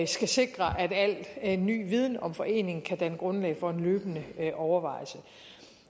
skal sikre at alt ny viden om foreningen kan danne grundlag for en løbende overvejelse